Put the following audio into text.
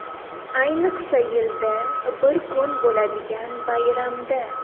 Ayniqsa yilda bir kun bo‘ladigan bayramda.